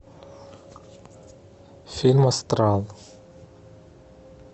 фильм астрал